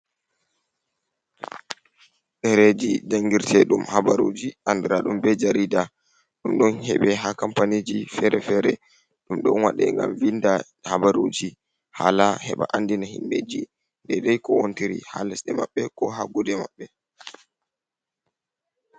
Ɗereji jangirteɗum habaruji andira ɗum be jarida. Ɗum ɗon heɓe ha kampaniji fere-fere. Ɗum ɗon waɗe ngam vinda habaruji hala heɓa andina himbeji deidai kowontiri ha lesɗe maɓɓe ko ha gude maɓɓe.